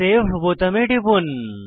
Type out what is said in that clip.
save বোতামে টিপুন